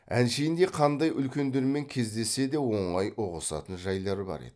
әншейінде қандай үлкендермен кездессе де оңай ұғысатын жайлар бар еді